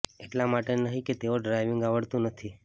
એટલા માટે નહી કે તેઓ ડ્રાઈવીગ આવડતું નથી